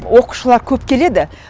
оқушылар көп келеді